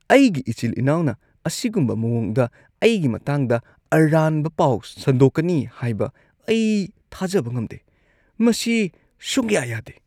ꯑꯩꯒꯤ ꯏꯆꯤꯜ-ꯏꯅꯥꯎꯅ ꯑꯁꯤꯒꯨꯝꯕ ꯃꯑꯣꯡꯗ ꯑꯩꯒꯤ ꯃꯇꯥꯡꯗ ꯑꯔꯥꯟꯕ ꯄꯥꯎ ꯁꯟꯗꯣꯛꯀꯅꯤ ꯍꯥꯏꯕ ꯑꯩ ꯊꯥꯖꯕ ꯉꯝꯗꯦ꯫ ꯃꯁꯤ ꯁꯨꯡꯌꯥ-ꯌꯥꯗꯦ꯫